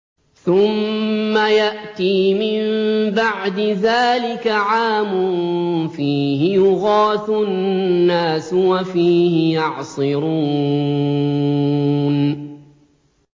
ثُمَّ يَأْتِي مِن بَعْدِ ذَٰلِكَ عَامٌ فِيهِ يُغَاثُ النَّاسُ وَفِيهِ يَعْصِرُونَ